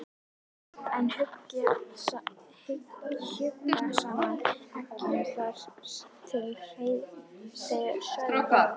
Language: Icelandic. en hjuggu saman eggjum þar til þreytan svæfði báða.